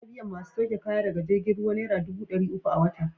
Ana biyan masu sauke kaya daga jirgin ruwa naira dubu ɗari uku a wata.